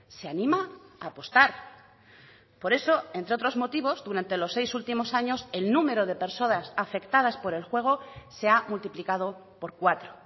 se anima a apostar por eso entre otros motivos durante los seis últimos años el número de personas afectadas por el juego se ha multiplicado por cuatro